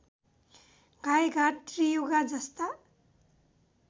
गाइघाट त्रियुगा जस्ता